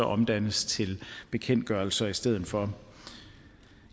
omdannes til bekendtgørelser i stedet for